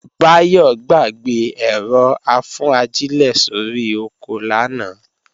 Báyọ̀ gbàgbé ẹ̀rọ-afúnajílẹ̀ sórí oko lánàá